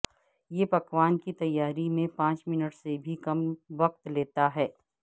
یہ پکوان کی تیاری میں پانچ منٹ سے بھی کم وقت لیتا ہے